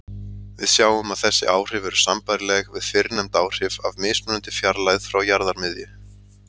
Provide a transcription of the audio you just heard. Við sjáum að þessi áhrif eru sambærileg við fyrrnefnd áhrif af mismunandi fjarlægð frá jarðarmiðju.